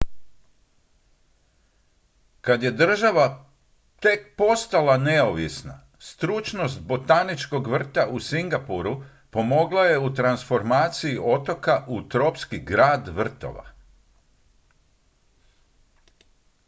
kad je država tek postala neovisna stručnost botaničkog vrta u singapuru pomogla je u transformaciji otoka u tropski grad vrtova